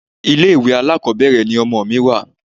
Ilé ìwé alákọ̀ọ́bẹ̀rẹ̀ ni ọmọ mi wà.